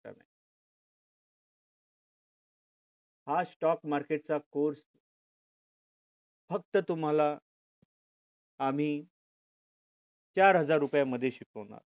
हा share market चा course फक्त तुम्हाला आम्ही चार हजार रुपये मध्ये शिकवणार